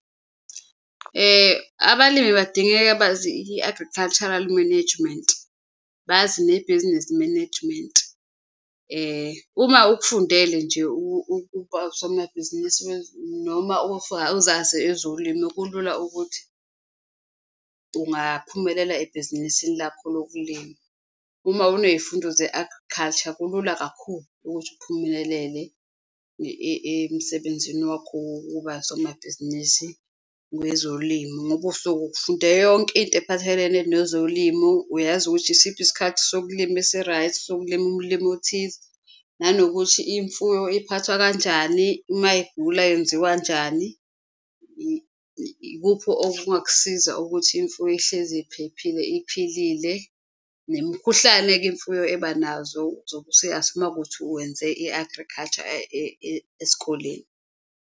Abalimi badingeka bazi i-agricultural management, bazi nebhizinisi management. Uma ukufundele nje ukuba usomabhizinisi noma uzazi ezolimu, kulula ukuthi ungaphumelela ebhizinisini lakho lokulima. Uma uneyifundo ze-agriculture kulula kakhulu ukuthi uphumelelele emsebenzini wakho wokuba usomabhizinisi wezolimu, ngoba usuke ukufunde yonke into ephathelene nezolimo. Uyazi ukuthi isiphi isikhathi sokulima esi-right, sokulima ulimu othize, nanokuthi imfuyo iphathwa kanjani, uma igula yenziwa njani, ikuphi okungakusiza ukuthi imfuyo ihlezi iphephile iphilile. Nemikhuhlane-ke imfuyo ebanazo uma wukuthi wenze i-agriculture esikoleni.